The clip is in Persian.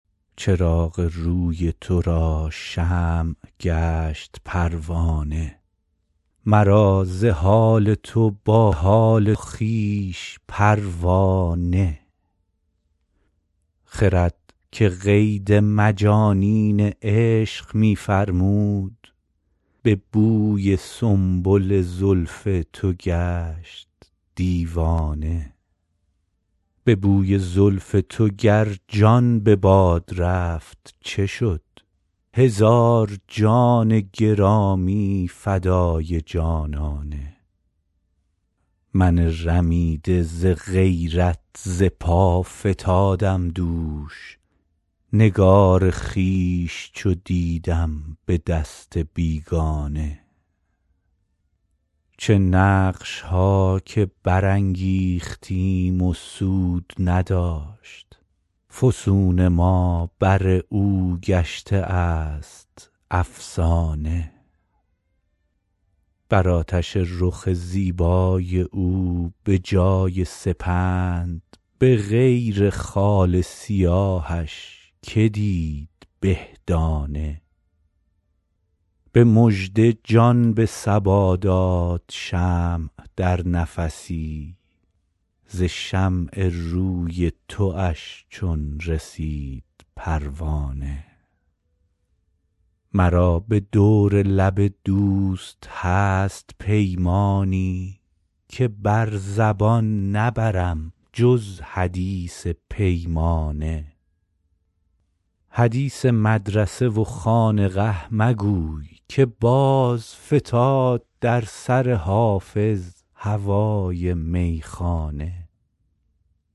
چراغ روی تو را شمع گشت پروانه مرا ز حال تو با حال خویش پروا نه خرد که قید مجانین عشق می فرمود به بوی سنبل زلف تو گشت دیوانه به بوی زلف تو گر جان به باد رفت چه شد هزار جان گرامی فدای جانانه من رمیده ز غیرت ز پا فتادم دوش نگار خویش چو دیدم به دست بیگانه چه نقش ها که برانگیختیم و سود نداشت فسون ما بر او گشته است افسانه بر آتش رخ زیبای او به جای سپند به غیر خال سیاهش که دید به دانه به مژده جان به صبا داد شمع در نفسی ز شمع روی تواش چون رسید پروانه مرا به دور لب دوست هست پیمانی که بر زبان نبرم جز حدیث پیمانه حدیث مدرسه و خانقه مگوی که باز فتاد در سر حافظ هوای میخانه